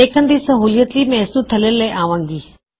ਦੇਖਣ ਦੀ ਸਹੂਲਿਅਤ ਲਈ ਮੈਂ ਇਸਨੂੰ ਥੱਲੇ ਲੈ ਆਵਾਂਗਾ